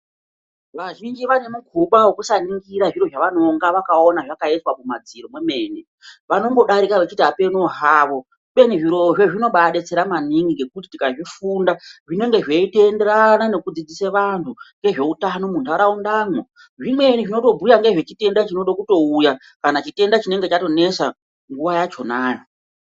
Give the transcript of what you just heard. Vazhinji vanemukuba wekusaningira zviro zvavanonga vakaona zvakaiswa kumadziro kwemene vanongodarika vechiti ameno havo kubeni zvirozvo zvinobadetsera maningi ngekuti tikazvifunda zvinenge zveitoenderana nekudzidzise vantu ngezveutano munharaundamwo , zvimweni zvinotobhuya nezvechitenda chinoda kutouya kana chitenda chinenge chatonesa nguwa yachonayo.